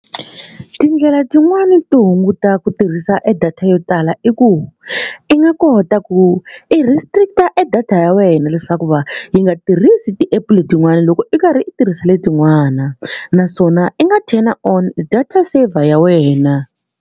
Tindlela tin'wani to hunguta ku tirhisa e data yo tala i ku i nga kota ku i restrict e data ya wena leswaku va yi nga tirhisi ti-app letin'wani loko i karhi i tirhisa letin'wana naswona i nga turn on data saver ya wena.